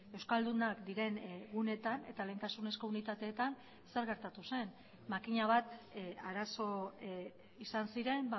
euskaldunak diren guneetan eta lehentasunezko unitateetan zer gertatu zen makina bat arazo izan ziren